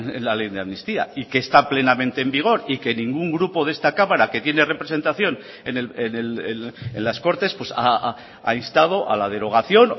es la ley de amnistía y que está plenamente en vigor y que ningún grupo de esta cámara que tiene representación en las cortes ha instado a la derogación